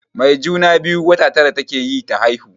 Mai juna-biyu wata tara take yi ta haihu.